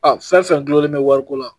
Aa fɛn fɛn gulonlen bɛ wari ko la